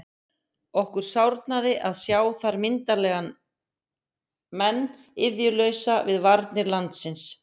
Okkur sárnaði að sjá þar myndarlega menn iðjulausa við varnir landsins.